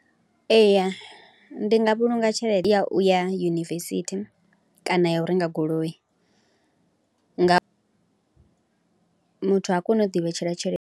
Eya ndi nga vhulunga tshelede ya u ya yunivesithi kana ya u renga goloi, nga muthu ha koni u ḓivhetshela tshelede.